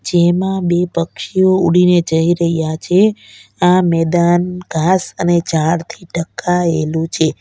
જેમા બે પક્ષીઓ ઉડીને જઈ રહ્યા છે આ મેદાન ઘાસ અને ઝાડથી ઢંકાયેલું છે.